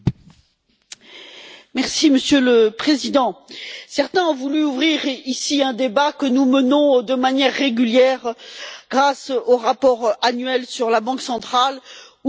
Monsieur le Président, certains ont voulu ouvrir ici un débat que nous menons de manière régulière grâce au rapport annuel sur la Banque centrale ou dans les auditions avec M.